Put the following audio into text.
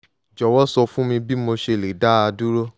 jọ̀wọ́ sọ fún mi bí mo ṣe lè dá a dúró